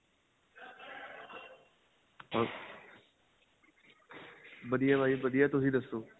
ਵਧੀਆ ਭਾਈ ਵਧੀਆ ਤੁਸੀਂ ਦੱਸੋ